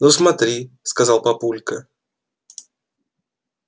ну смотри сказал папулька